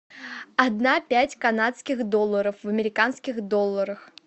одна пять канадских долларов в американских долларах